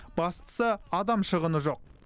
бастысы адам шығыны жоқ